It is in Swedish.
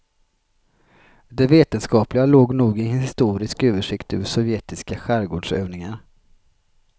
Det vetenskapliga låg nog i en historisk översikt över sovjetiska skärgårdsövningar.